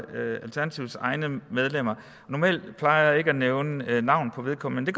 alternativets egne medlemmer normalt plejer jeg ikke at nævne navn på vedkommende